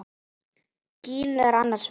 Gínu er annars vegar.